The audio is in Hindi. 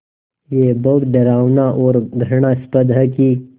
ये बहुत डरावना और घृणास्पद है कि